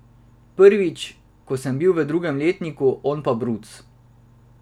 Prvič, ko sem bil v drugem letniku, on pa bruc.